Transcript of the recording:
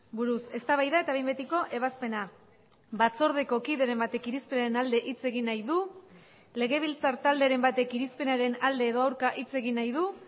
buruz eztabaida eta behin betiko ebazpena batzordeko kideren batek irizpenen alde hitz egin nahi du legebiltzar talderen batek irizpenaren alde edo aurka hitz egin nahi du